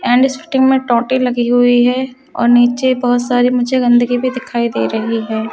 And स्टेटिंग में टोटे लगे हुए है और नीचे बोहोत सारे मुझे गंदगी भी दखाई दे रही है।